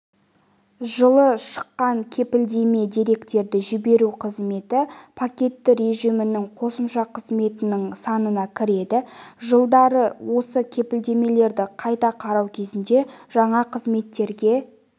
жылы шыққан кепілдемеде деректерді жіберу қызметі пакетті режимінің қосымша қызметінің санына кіреді жылдары осы кепілдемелерді қайта қарау кезінде жаңа қызметтерге